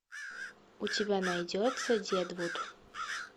у тебя найдется дедвуд